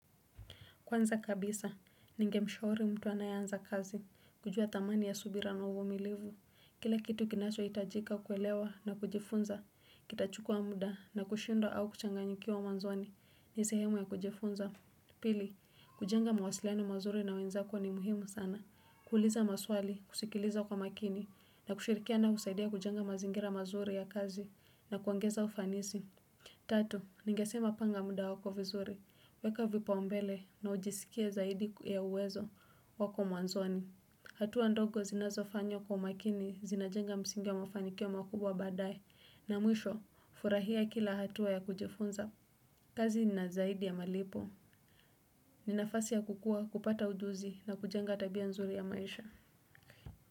Kwanza kabisa, ningemshauri mtu anayeanza kazi, kujua thamani ya subira na uvumilivu. Kila kitu kinachohitajika kuelewa na kujifunza, kitachukua muda na kushindwa au kuchanganyikiwa mwanzoni, ni sehemu ya kujifunza. Pili, kujenga mawasiliano mazuri na wenzako ni muhimu sana. Kuuuliza maswali, kusikiliza kwa makini, na kushirikiana husaidia kujenga mazingira mazuri ya kazi, na kuongeza ufanisi. Tatu, ningesema panga muda wako vizuri. Weka vipaumbele na ujisikie zaidi ya uwezo wako mwanzoni. Hatua ndogo zinazofanywa kwa makini zinajenga msingi wa mafanikio makubwa badaye na mwisho furahia kila hatua ya kujifunza. Kazi na zaidi ya malipo. Ni nafasi ya kukua kupata ujuzi na kujenga tabia nzuri ya maisha.